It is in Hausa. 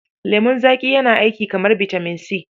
Lemon zaƙi yana yi aiki kamar bitamin C.